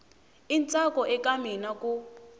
i ntsako eka mina ku